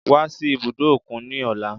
Wá sí ibùdó òkun ní ọ̀la